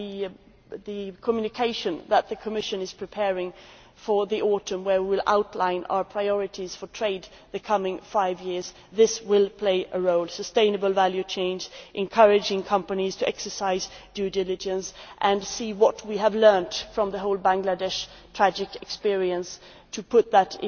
The Communication that the Commission is preparing for the autumn, in which we will outline our priorities for trade for the coming five years, will also play a role sustainable value change, encouraging companies to exercise due diligence and to see what we have learned from the whole tragic Bangladeshi experience, to put that